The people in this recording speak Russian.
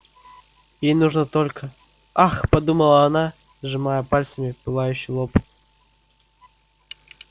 ей нужно только ах подумала она сжимая пальцами пылающий лоб